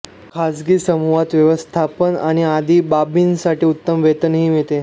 खाजगी समूहात व्यवस्थापन आणि आदी बाबींसाठी उत्तम वेतनही मिळते